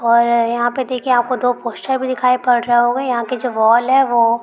और यहाँ पे देखिये आपको दो पोस्टर भी दिखाई पड़ रहा होगा यहाँ की जो वोल है वो --